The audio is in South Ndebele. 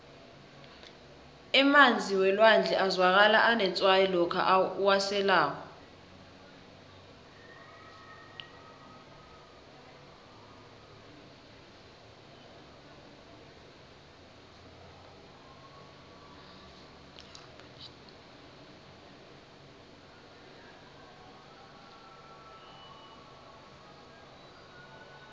emanzi welwandle azwakala anetswayi lokha uwaselako